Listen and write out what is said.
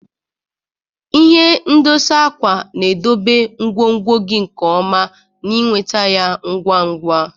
Ihe ndosa akwa na-edobe ngwongwo gị nke ọma na ịnweta ya ngwa ngwa.